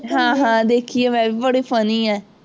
ਹਾਂ ਹਾਂ ਦੇਖੀ ਹੈ ਮੈਂ, ਬੜੀ funny ਹੈ।